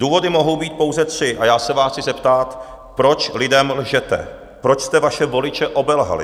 Důvody mohou být pouze tři a já se vás chci zeptat, proč lidem lžete, proč jste vaše voliče obelhali?